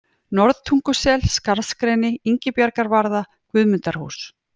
Norðtungusel, Skarðsgreni, Ingibjargarvarða, Guðmundarhús